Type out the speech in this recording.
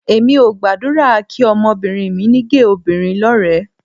Èmi ò gbàdúrà kí ọmọbìnrin mi ní géè obìnrin lọ́rẹ̀ẹ́